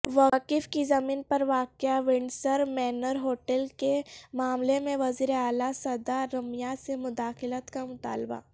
وقف کی زمین پر واقع ونڈسرمینرہوٹل کےمعاملہ میں وزیراعلی سدا رمیا سے مداخلت کا مطالبہ